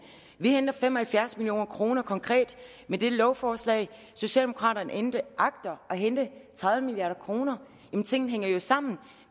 vi henter fem og halvfjerds million kroner konkret med dette lovforslag socialdemokraterne agter at hente tredive milliard kroner tingene hænger jo sammen